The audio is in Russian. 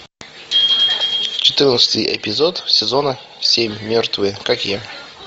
четырнадцатый эпизод сезона семь мертвые как я